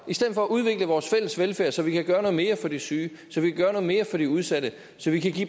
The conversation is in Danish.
i stedet for at udvikle vores fælles velfærd så vi kan gøre noget mere for de syge så vi kan gøre noget mere for de udsatte så vi kan give